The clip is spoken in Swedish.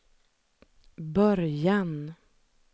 början